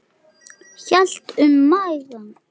Hélt um magann.